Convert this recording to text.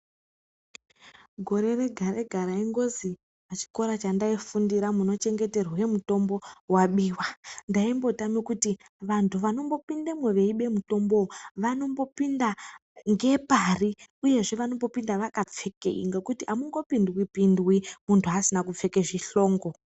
Gore rega-rega raingozi pachikora chandaifundira munochengeterwe mitombo wabiwa. Ndaimbotame kuti vantu vanombopindemwo veibe mutombowo vanombopinda ngepari uyezve vanombopinda vakapfekei ngekuti hamungopindwi-pindwi muntu asina kupfeke zvihlongo